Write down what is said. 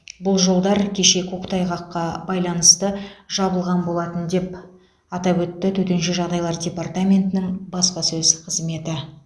бұл жолдар кеше көктайғаққа байланысты жабылған болатын деп атап өтті төтенше жағдайлар департаментінің баспасөз қызметі